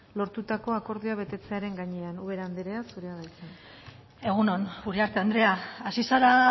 lortutako akordioa betetzearen gainean ubera anderea zurea da hitza egun on uriarte andrea hasi zara